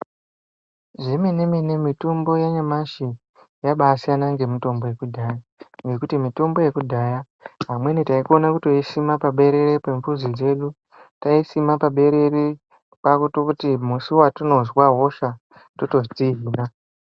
Zve mene mene mitombo ya nyamashi yabai siyana nge mitombo yeku dhaya nekuti mitombo ye kudhaya amweni taiokona kutoisima pa berere pe mbuzi dzedu taisima pa berere kwakutoti musi watinonzwa hosha toto dzihina.